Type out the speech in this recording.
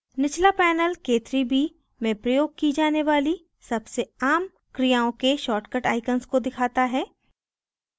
निचला panel k3b में प्रयोग की जाने वाली सबसे आम क्रियाओं के शार्ट the icons को दिखाता है